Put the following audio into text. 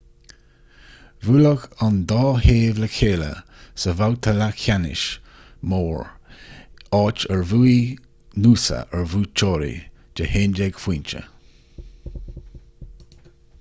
bhuailfeadh an dá thaobh le chéile sa bhabhta leathcheannais mór áit ar bhuaigh noosa ar bhuaiteoirí de 11 phointe